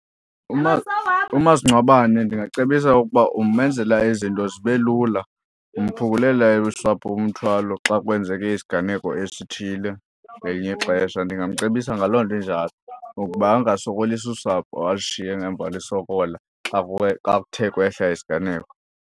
Umasingcwabane ndingacebisa ukuba umenzela izinto zibe lula, umphungulela usapho umthwalo xa kwenzeke isiganeko esithile ngelinye ixesha. Ndingamcebisa ngaloo nto injalo ukuba angasokolisi usapho alishiye ngemva lusokola xa kuye, xa kuthe kwehla isiganeko.